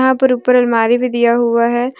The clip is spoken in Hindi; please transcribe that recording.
यहां पर ऊपर अलमारी भी दिया हुआ है।